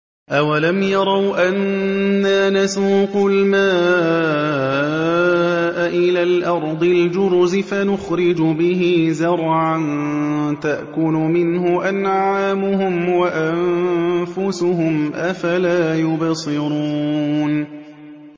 أَوَلَمْ يَرَوْا أَنَّا نَسُوقُ الْمَاءَ إِلَى الْأَرْضِ الْجُرُزِ فَنُخْرِجُ بِهِ زَرْعًا تَأْكُلُ مِنْهُ أَنْعَامُهُمْ وَأَنفُسُهُمْ ۖ أَفَلَا يُبْصِرُونَ